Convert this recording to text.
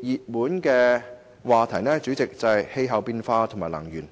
熱門話題是氣候變化和能源。